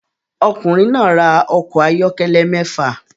Ọkùnrin náà ra ọkọ̀ ayọ́kẹ́lẹ́ mẹ́fà